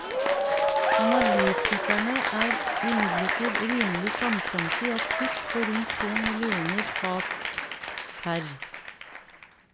Analytikerne er imidlertid rimelig samstemte i at kutt på rundt to millioner fat pr.